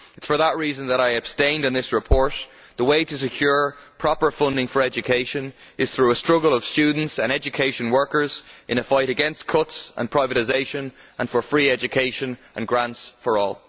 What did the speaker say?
It is for that reason that I abstained on this report. The way to secure proper funding for education is through a struggle of students and education workers in a fight against cuts and privatisation and for free education and grants for all.